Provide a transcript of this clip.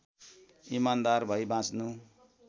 इमान्दार भई बाँच्नु